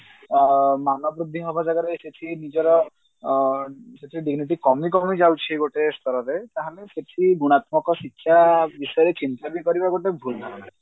ଅ ମାନ ବୃଦ୍ଧି ହବା ଜାଗାରେ ସେ ନିଜର ଅ ସେତେ dignity କମି କମି ଯାଉଛି ଗୋଟେ ସ୍ତରରେ ତାହେଲେ ସେଠି ଗୁଣାତ୍ମକ ଶିକ୍ଷା ବିଷୟରେ ଚିନ୍ତା ବି କରିବା ଗୋଟେ ଭୁଲ ଧାରଣା